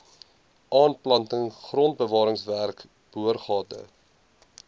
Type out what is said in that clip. aanplanting grondbewaringswerke boorgate